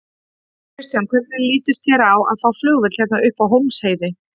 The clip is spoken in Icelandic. Kristján: Hvernig litist þér á að fá flugvöll hérna upp á Hólmsheiði?